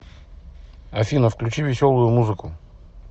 афина включи веселую музыку